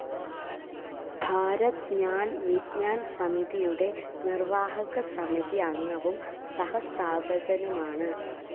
ഭാരത് ജ്ഞാൻ വിജ്ഞാൻ സമിതിയുടെ നിർവാഹകസമിതി അംഗവും സഹസ്ഥാപകനുമാണ്.